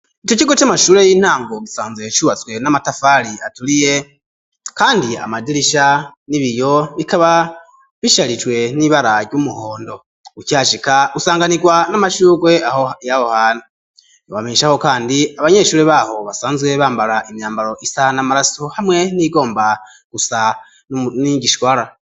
Ico cigo c'amashure y'intango gisanzwe cubatswe n'amatafari aturiye kandi amadirisha n'ibiyo bikaba bisharijwe n'ibara ry'umuhondo uki hashika usanganirwa n'amashurwe yaho hantu twobamesha ko kandi abanyeshure baho basanzwe bambara imyambaro isa n'amaraso hamwe niyi gomba gusa n'igishwarara.